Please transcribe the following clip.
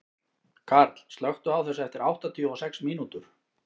Karl, slökktu á þessu eftir áttatíu og sex mínútur.